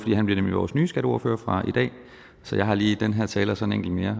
nemlig vores nye skatteordfører fra i dag så jeg har lige den her tale og så en enkelt mere